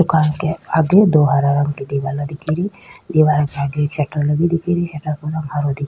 car के आगे दो हरा रंग की दीवाला दिख री दिवारा के आगे एक सटर लगे दिख री सटर को रंग हरो दिख --